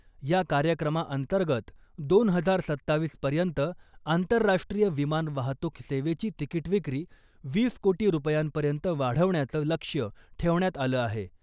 या कार्यक्रमाअंतर्गत दोन हजार सत्तावीसपर्यंत, आंतरराष्ट्रीय विमान वाहतूक सेवेची तिकीट विक्री, वीस कोटी रुपयांपर्यंत वाढवण्याचं लक्ष्य ठेवण्यात आलं आहे.